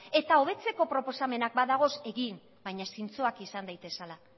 eta hobetzeko proposamenak badaude egin baina zintzoak izan daitezela